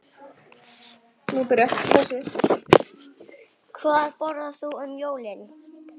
Hvað borðar þú um jólin?